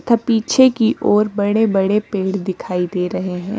पीछे की ओर बड़े-बड़े पेड़ दिखाई दे रहे हैं।